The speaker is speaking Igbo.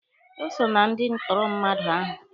O so na ndị ntụrụ mmadụ ahụ.